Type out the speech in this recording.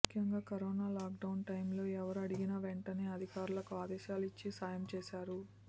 ముఖ్యంగా corona lockdown time లో ఎవరూ అడిగిన వెంటనే అధికారులకు ఆదేశాలు ఇచ్చి సాయం చేశారు